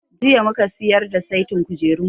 Jiya mu ka siyar da saitin kujerunmu.